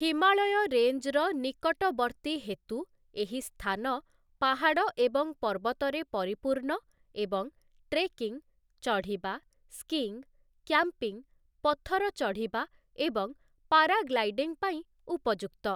ହିମାଳୟ ରେଞ୍ଜର ନିକଟବର୍ତ୍ତୀ ହେତୁ, ଏହି ସ୍ଥାନ ପାହାଡ଼ ଏବଂ ପର୍ବତରେ ପରିପୂର୍ଣ୍ଣ ଏବଂ ଟ୍ରେକିଂ, ଚଢିବା, ସ୍କିଙ୍ଗ୍, କ୍ୟାମ୍ପିଂ, ପଥର ଚଢ଼ିବା ଏବଂ ପାରାଗ୍ଲାଇଡିଂ ପାଇଁ ଉପଯୁକ୍ତ ।